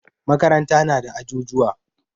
Makaranta na da ajujuwa.